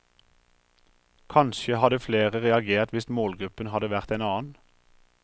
Kanskje hadde flere reagert hvis målgruppen hadde vært en annen.